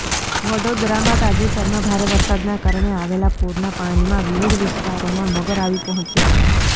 વડોદરામાં તાજેતરમાં ભારે વરસાદના કારણે આવેલા પૂરના પાણીમાં વિવિધ વિસ્તારોમાં મગર આવી પહોચ્યા હતા